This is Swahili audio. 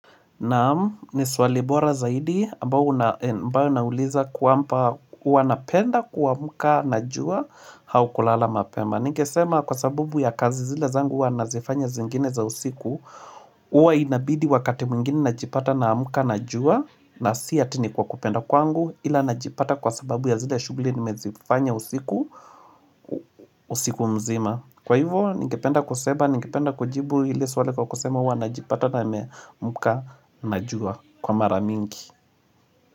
Naam ni swali bora zaidi ambayo inauliza kwamba hua napenda kuamuka na jua hau kulala mapema Ningesema kwa sababu ya kazi zile zangu huwa nazifanya zingine za usiku huwa inabidi wakati mwingine najipata naamuka na jua na si ati ni kwa kupenda kwangu Ila najipata kwa sababu ya zile shuguli nimezifanya usiku usiku mzima Kwa hivyo, ningependa kujibu ile swali kwa kusema huwa najipata na mka na jua kwa mara mingi.